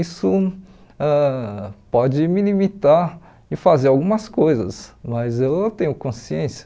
Isso ãh pode me limitar e fazer algumas coisas, mas eu tenho consciência.